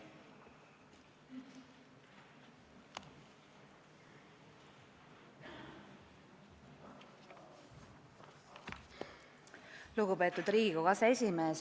Lugupeetud Riigikogu aseesimees!